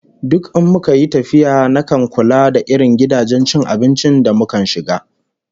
Duk in muka yi tafiya nakan kula da irin gidajen cin abinci da mukan shiga